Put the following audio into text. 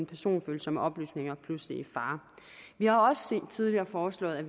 personfølsomme oplysninger pludselig i fare vi har også tidligere foreslået at